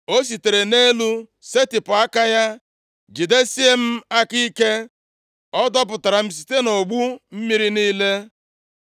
“O sitere nʼelu setịpụ aka ya, jidesie m aka ike, ọ dọpụtara m site nʼogbu mmiri niile.